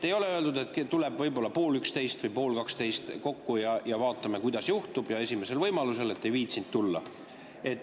Ei ole öeldud, et tuleme võib-olla pool üksteist või pool kaksteist kokku ja vaatame, mis juhtub, et esimesel võimalusel, et ei viitsinud tulla.